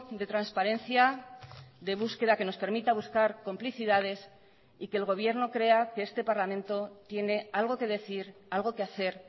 de transparencia de búsqueda que nos permita buscar complicidades y que el gobierno crea que este parlamento tiene algo que decir algo que hacer